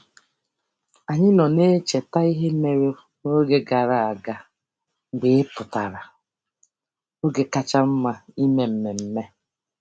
Anyị nọ na-echeta ihe mere n'oge gara aga mgbe ị pụtara - oge kacha mma ime mmemme.